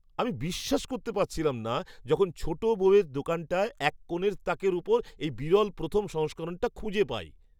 আমি বিশ্বাস করতে পারছিলাম না যখন ছোট বইয়ের দোকানটার এক কোণের তাকের ওপর এই বিরল প্রথম সংস্করণটা খুঁজে পাই!